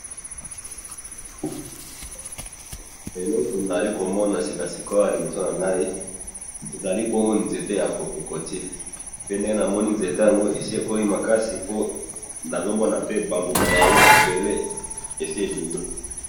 eloko nazali komona sikasikoyo awa na liboso nangayi ezali bongo nzete ya kokotiye pe namoni nzete yango esi ekoli makasi po nazomona pe ba mboma nayango ebele esi ebimi.